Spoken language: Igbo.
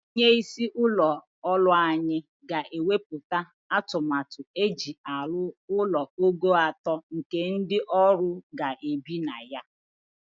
Onye isi ụlọ ọrụ anyị ga-ewepụta atụmatụ eji arụ ụlọ ogo atọ nke ndị ọrụ ga-ebi na ya.